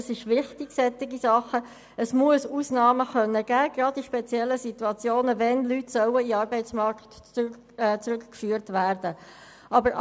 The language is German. Solche Dinge sind wichtig, es muss gerade in speziellen Situationen Ausnahmen geben können, wenn die Leute in den Arbeitsmarkt zurückgeführt werden sollen.